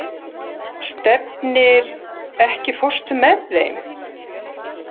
Stefnir, ekki fórstu með þeim?